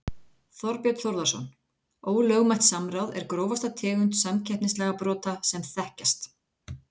Þorbjörn Þórðarson: Ólögmætt samráð er grófasta tegund samkeppnislagabrota sem þekkjast?